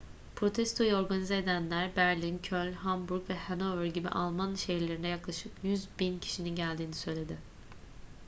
protestoyu organize edenler berlin köln hamburg ve hannover gibi alman şehirlerinde yaklaşık 100.000 kişinin geldiğini söyledi